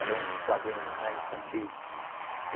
Eram uns quadrinhos né, infantis.